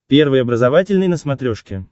первый образовательный на смотрешке